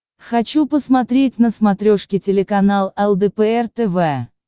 хочу посмотреть на смотрешке телеканал лдпр тв